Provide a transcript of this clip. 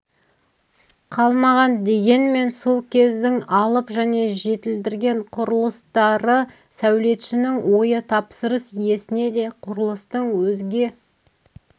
қалмаған дегенмен сол кездің алып және жетілдірген құрылыстары сәулетшінің ойы тапсырыс иесіне де құрылыстың өзге